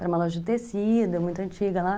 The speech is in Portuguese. Era uma loja de tecido, muito antiga lá.